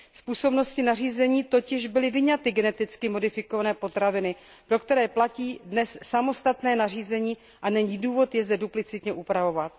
Z působnosti nařízení totiž byly vyňaty geneticky modifikované potraviny, pro které dnes platí samostatné nařízení, a není důvod je zde duplicitně upravovat.